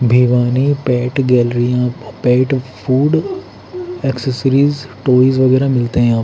Bhiwani pet galleria pet food accessories toys वगैरह मिलते हैं यहां।